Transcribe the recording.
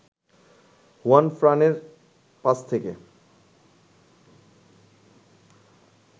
হুয়ানফ্রানের পাস থেকে